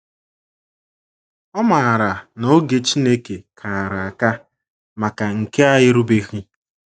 Ọ maara na oge Chineke kara aka maka nke a erubeghị.